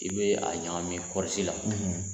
I bɛ a ɲagami kɔɔrisi la,